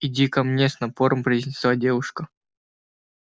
иди ко мне с напором произнесла девушка